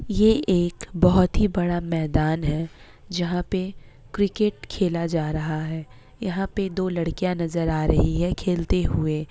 ये एक बहुत ही बड़ा मैदान है जहाँ पे क्रिकेट खेला जा रहा है। यहाँ पे दो लड़कियां नजर आ रही है खेलते हुए।